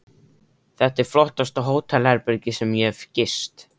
Þetta er flottasta hótelherbergi sem ég hef gist.